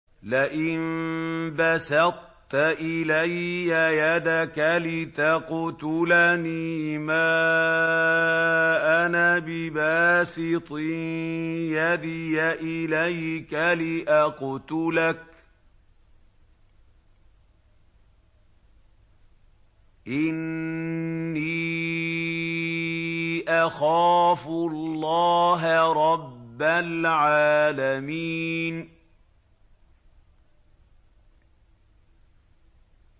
لَئِن بَسَطتَ إِلَيَّ يَدَكَ لِتَقْتُلَنِي مَا أَنَا بِبَاسِطٍ يَدِيَ إِلَيْكَ لِأَقْتُلَكَ ۖ إِنِّي أَخَافُ اللَّهَ رَبَّ الْعَالَمِينَ